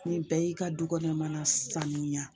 Ni bɛɛ y'i ka dukɔnɔ mana sanuya